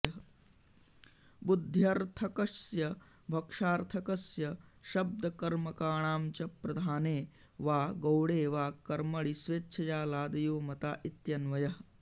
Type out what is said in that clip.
बुद्ध्यर्थकस्य भक्षार्थकस्य शब्दकर्मकाणां च प्रधाने वा गौणे वा कर्मणि स्वेच्छया लादयो मता इत्यन्वयः